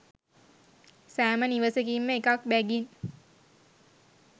සෑම නිවසකින්ම එකක් බැගින්